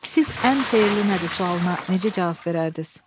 Siz ən xeyirli nədir sualına necə cavab verərdiniz?